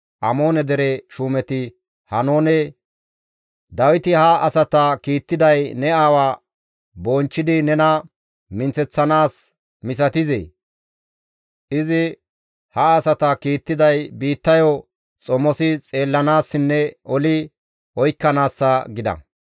Amoone dere shuumeti Haanoone, «Dawiti ha asata kiittiday ne aawa bonchchidi nena minththeththanaas misatizee? Izi ha asata kiittiday biittayo xomosi xeellanaassinne oli oykkanaassa» gida.